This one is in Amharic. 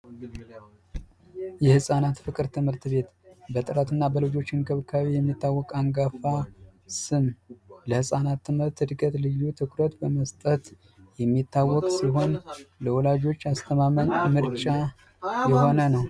የህፃናት ፍቅር ትምህርት ቤት በጥራትና በልጆች እንክብካቤ የሚታወቅ አንጋፋ ለህፃናት ትምህርት እድገት ልዩ ትኩረት በመስጠት የሚታወቅ ሲሆን ልወላጆች አስተማማኝ ምርጫ የሆነ ነው።